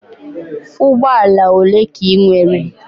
Ụgbọ ala ole ka ị nwere?